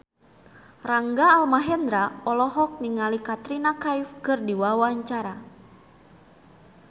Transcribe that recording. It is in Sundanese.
Rangga Almahendra olohok ningali Katrina Kaif keur diwawancara